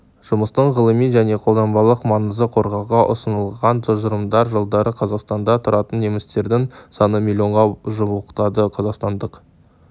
жұмыстың ғылыми және қолданбалық маңызы қорғауға ұсынылған тұжырымдар жылдары қазақстанда тұратын немістердің саны миллионға жуықтады қазақстандық